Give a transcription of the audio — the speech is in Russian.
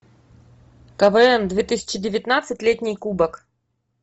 квн две тысячи девятнадцать летний кубок